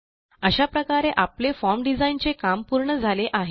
अशा प्रकारे आपले फॉर्म डिझाइन चे काम पूर्ण झाले आहे